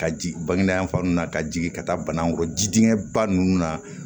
Ka ji bange dayan fan na ka jigin ka taa bana dingɛ ba ninnu na